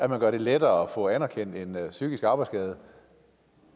man gjorde det lettere at få anerkendt en psykisk arbejdsskade